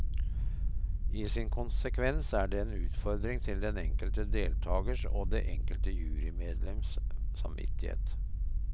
I sin konsekvens er det en utfordring til den enkelte deltagers og det enkelte jurymedlems samvittighet.